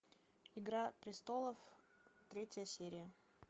игра престолов третья серия